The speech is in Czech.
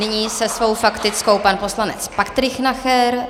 Nyní se svou faktickou pan poslanec Patrik Nacher.